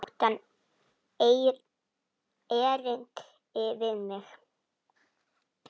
Átti hann erindi við mig?